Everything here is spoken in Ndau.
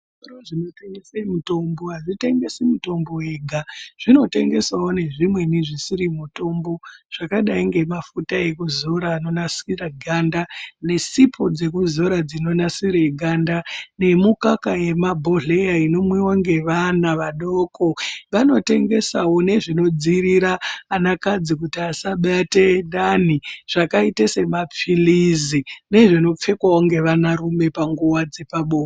Zvitoro zvinotengese mitombo hazvitengesi mitombo yega, zvinotengesawo nezvimweni zvisiri mitombo zvakadai ngemafuta ekuzora anonasira ganda nesipo dzekuzora dzinonasire ganda, nemikaka yemumabhodhera inomwiwa nevana vadoko, vanotengesawo nezvinodzivirira vanakadzi kuti vasabate danhi zvakaite semapiritsi nezvinopfekwawo nevanarume panguva dzepabonde.